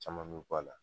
Caman bɛ bɔ a la